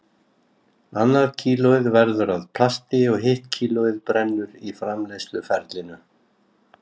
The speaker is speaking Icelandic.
Annað kílóið verður að plasti og hitt kílóið brennur í framleiðsluferlinu.